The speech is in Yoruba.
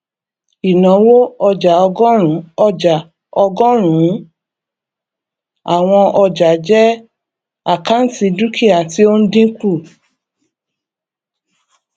ìnáwó ọjàọgọrùnún ọjà ọgọrùnún àwọn ọjàjẹ àkáǹtì dúkìá tí ó ń dínkù